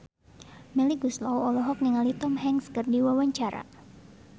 Melly Goeslaw olohok ningali Tom Hanks keur diwawancara